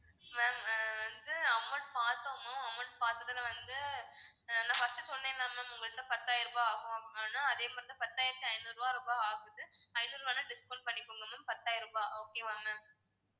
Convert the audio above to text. ma'am ஆஹ் வந்து amount பாத்தோம் ma'am amount பாத்ததுல வந்து நான் first சொன்னேன்ல ma'am உங்ககிட்ட பத்தாயிரம் ரூபாய் ஆகும்னு ஆனா அதே மாதிரி தான் பத்தாயிரத்தி ஐந்நூறு ரூபாய் ஆகுது ஐந்நூறு ரூபாய discount பண்ணிக்கோங்க ma'am பத்தாயிரம் ரூபாய் okay வா ma'am